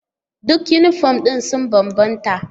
Duk yunifom ɗin sun bambanta.